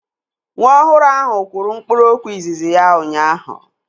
Nwa ọhụrụ ahụ kwuru mkpụrụokwu izizi ya ụnyaahụ